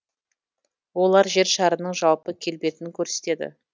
олар жер шарының жалпы келбетін көрсетеді